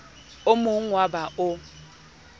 o mogn oo ba o